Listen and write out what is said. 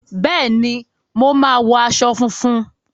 Bẹẹni, mo máa wọ aṣọ funfun.